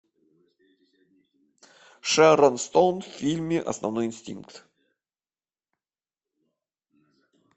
шерон стоун в фильме основной инстинкт